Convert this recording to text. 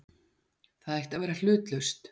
Það ætti að vera hlutlaust.